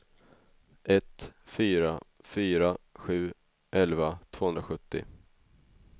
ett fyra fyra sju elva tvåhundrasjuttio